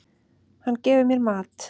Hann gefur mér mat.